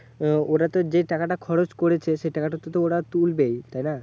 আহ ওরা তো যে টাকাটা খরচ করেছে সেই টাকাটা তো ওরা তুলবেই, তাইনা?